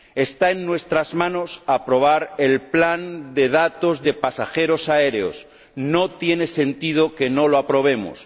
Está en nuestras manos aprobar el plan de datos de pasajeros aéreos. No tiene sentido que no lo aprobemos.